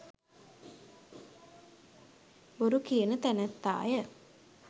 බොරුකියන තැනැත්තාය.